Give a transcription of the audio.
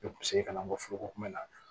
Ne kun bɛ se ka na n ko foroko kunbɛ